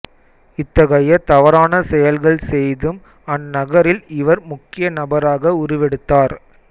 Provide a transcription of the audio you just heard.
இத்தகைய தவறான செயல்கள் செய்தும் அந்நகரில் இவர் முக்கிய நபராக உருவெடுத்தார்